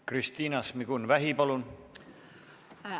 Kristina Šmigun-Vähi, palun!